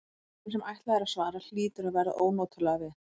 En þeim sem ætlað er að svara hlýtur að verða ónotalega við.